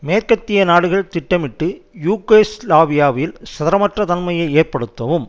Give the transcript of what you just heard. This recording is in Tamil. மேற்கத்திய நாடுகள் திட்டமிட்டு யூகோஸ்லாவியாவில் ஸ்திரமற்ற தன்மையை ஏற்படுத்தவும்